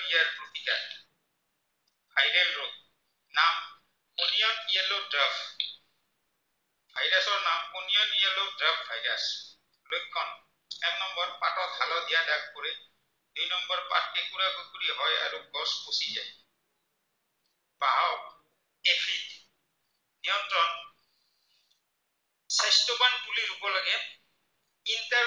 তিনিটাই